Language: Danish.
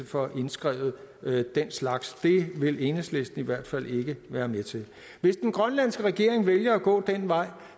får indskrevet den slags det vil enhedslisten i hvert fald ikke være med til hvis den grønlandske regering vælger at gå den vej